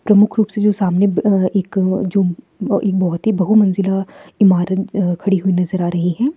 प्रमुख रूप से जो सामने एक जो एक बहुत ही बहुमंजिला इमारत खड़ी हुई नजर आ रही है।